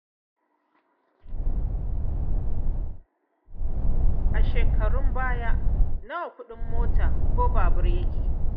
Kai a shekarun baya nawa kuɗin mota ko babur ko keke?